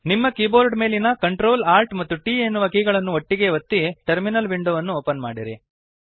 ನಿಮ್ಮ ಕೀಬೋರ್ಡ್ ಮೇಲಿನ Ctrl Alt ಮತ್ತು T ಎನ್ನುವ ಕೀಗಳನ್ನು ಒಂದೇ ಬಾರಿಗೆ ಒತ್ತಿ ಟರ್ಮಿನಲ್ ವಿಂಡೋವನ್ನು ಓಪನ್ ಮಾಡಿರಿ